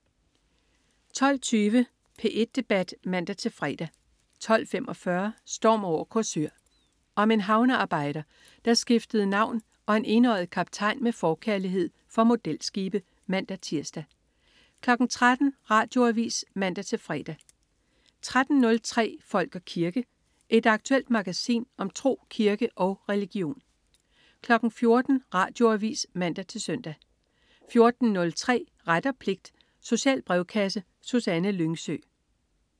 12.20 P1 Debat (man-fre) 12.45 Storm over Korsør. Om en havnearbejder, der skiftede navn, og en enøjet kaptajn med forkærlighed for modelskibe (man-tirs) 13.00 Radioavis (man-fre) 13.03 Folk og kirke. Et aktuelt magasin om tro, kirke og religion 14.00 Radioavis (man-søn) 14.03 Ret og pligt. Social brevkasse. Susanne Lyngsø